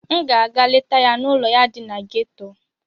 M ga-aga letaa ya n'ụlọ ya dị na geto.